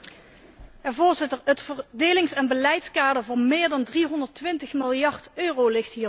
Voorzitter, het verdelings en beleidskader van meer dan 320 miljard euro ligt hier ter tafel.